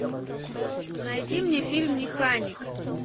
найди мне фильм механик